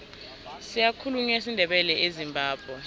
siyakhulunywa isindebele ezimbabwe